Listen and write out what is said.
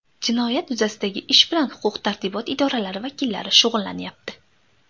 Jinoyat yuzasidagi ish bilan huquq-tartibot idoralari vakillari shug‘ullanyapti.